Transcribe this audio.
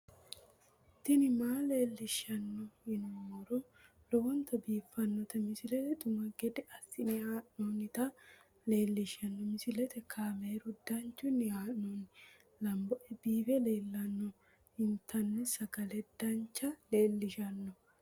tini maa leelishshanno yaannohura lowonta biiffanota misile xuma gede assine haa'noonnita leellishshanno misileeti kaameru danchunni haa'noonni lamboe biiffe leeeltanno intanni sagale dincha leellishshanno